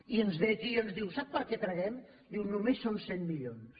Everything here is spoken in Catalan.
i ens ve aquí i ens diu sap per què traguem només són cent milions